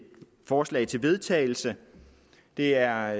forslag til vedtagelse det er